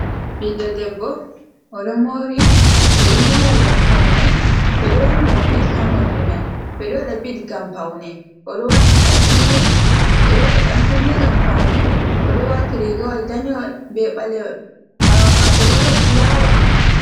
Ɓiɗɗo debbo oɗo moori ɓe ɗo moora ngam paune, ɓe ɗo wannimo bit ha morɗi mai, ɓe ɗo waɗa bit ngam paune, oɗo waati ɗan kunne, ɓe ɗo waɗa ɗan ngam paune, oɗo waati riigawol danewol be ɓalewol, ɓawo maako bo ɗon fulaawa.